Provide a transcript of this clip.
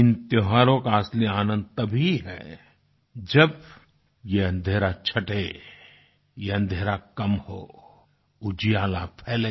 इन त्योहारों का असली आनंद तभी है जब यह अन्धेरा छठे ये अन्धेरा कम हो उजियाला फैले